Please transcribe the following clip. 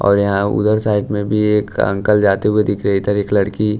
और यहां उधर साइड में भी एक अंकल जाते हुए दिख रहे इधर एक लड़की--